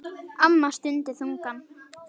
Amma stundi þungan.